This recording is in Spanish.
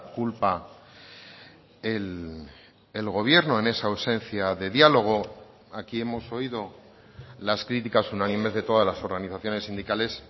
culpa el gobierno en esa ausencia de diálogo aquí hemos oído las críticas unánimes de todas las organizaciones sindicales